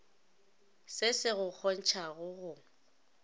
se se go kgontšha go